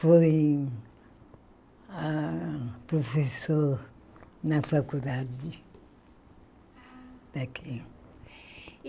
Foi ah professor na faculdade daqui.